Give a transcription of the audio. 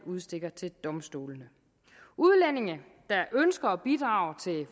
udstikkes til domstolene udlændinge der ønsker at bidrage til